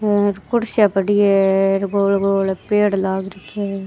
ये कुर्सियां पड़ी है गोल गोल पेड़ लाग रखा है।